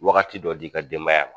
Wagati dɔ d'i ka denbaya ma